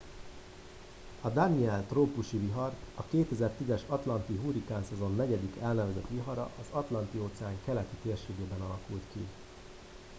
a danielle trópusi vihar a 2010 es atlanti hurrikánszezon negyedik elnevezett vihara az atlanti óceán keleti térségében alakult ki